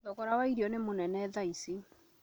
Thogora wa irio nĩ mũnene tha ici